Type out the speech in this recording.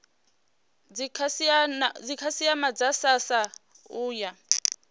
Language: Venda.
dzikhasiama dza srsa u ya